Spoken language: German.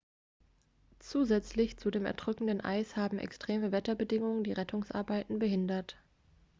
zusätzlich zu dem erdrückenden eis haben extreme wetterbedingungen die rettungsarbeiten behindert